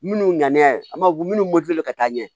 Minnu ŋaniya an b'a minnu ka taa ɲɛ